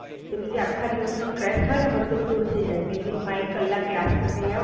મજા આવે પણ, બધુ જે આખા દિવસ નો stress હોઈ ને એ બધુ દૂર થય જાય. માં એક કલાક class માં જઈ આવો ને,